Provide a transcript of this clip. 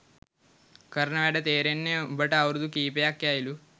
කරන වැඩ තෙරෙන්න උබට අවුරුදු කීපයක් යයිලු